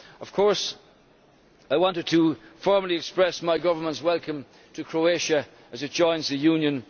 Of course, I want to formally express my government's welcome to Croatia as it joins the Union.